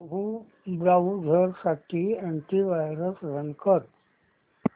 browser साठी anti virus run कर